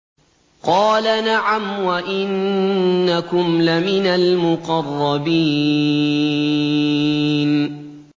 قَالَ نَعَمْ وَإِنَّكُمْ لَمِنَ الْمُقَرَّبِينَ